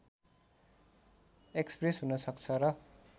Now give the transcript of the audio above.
express हुन सक्छ र